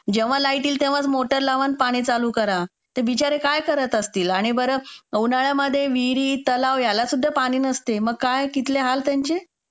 जेव्हा लाईट येईल तेव्हाच मोटर लावा पाणी चालू करा. ते बिचारे काय करत असतील आणि बरं उन्हाळ्यात विहिरी, तलाव यालासुद्धा पाणी नसते मग काय कुठले हाल त्यांचे.